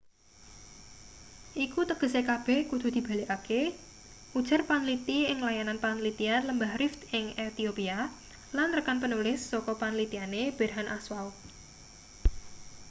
iku tegese kabeh kudu dibalekake ujar panliti ing layanan panlitian lembah rift ing ethiopia lan rekan penulis saka panlitiane berhane asfaw